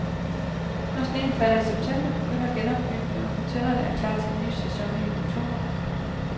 Når sneen falder i september, begynder genopbygningen, og hotellet er klar til en ny sæson i oktober.